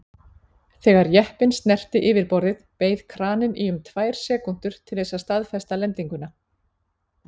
Þegar jeppinn snerti yfirborðið beið kraninn í um tvær sekúndur til þess að staðfesta lendinguna.